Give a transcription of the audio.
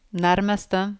nærmeste